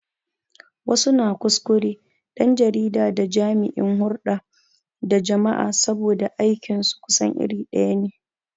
Wasu na kuskure ɗan jarida da jami'in hurɗa da jama'a saboda aikin su kusan iri ɗaya ne.